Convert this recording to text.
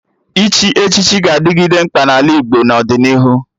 Ịchị echichi ga-adịgide mkpa n'ala Igbo n'ọdịnihu